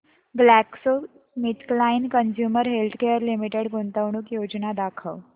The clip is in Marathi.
ग्लॅक्सोस्मिथक्लाइन कंझ्युमर हेल्थकेयर लिमिटेड गुंतवणूक योजना दाखव